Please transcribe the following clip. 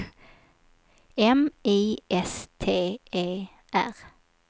M I S T E R